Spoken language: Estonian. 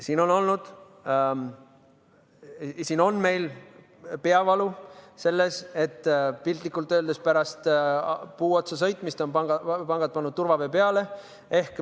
Siin tekitab meile peavalu, et piltlikult öeldes pärast vastu puud sõitmist on pangad pannud turvavöö peale.